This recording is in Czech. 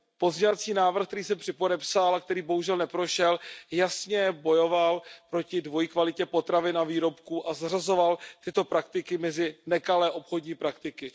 Pozměňovací návrh, který jsem spolupodepsal a který bohužel neprošel, jasně bojoval proti dvojí kvalitě potravin a výrobků a zařazoval tyto praktiky mezi nekalé obchodní praktiky.